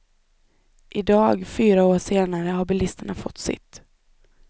Idag, fyra år senare, har bilisterna fått sitt.